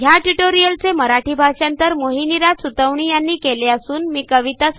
ह्या ट्युटोरियलचे मराठी भाषांतर मोहिनीराज सुतवणी यांनी केलेले असून आवाज